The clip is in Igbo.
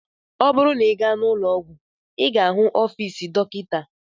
Ọ bụrụ na ị gaa ụlọọgwụ, ị ga-ahụ ọfiisi Dọkịta.